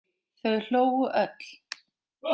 Þau hlógu öll.